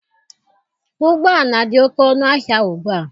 Ụgbọala dị oke ọnụ ahịa ugbua.